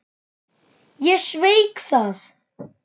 Ég sveik það.